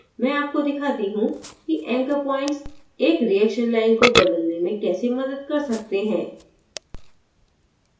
मैं आपको दिखाती how कि anchor points एक reaction line को बदलने में कैसे मदद कर सकते हैं